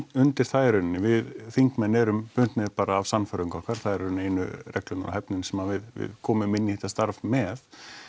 undir það í rauninni við þingmenn erum bundnir bara af sannfæringu okkar það eru í rauninni einu reglurnar og hæfnin sem við komum inn í þetta starf með